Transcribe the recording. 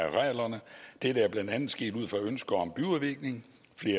arealerne dette er blandt andet sket ud fra et ønske om byudvikling